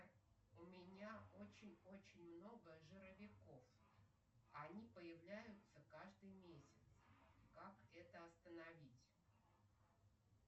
у меня очень очень много жировиков они появляются каждый месяц как это остановить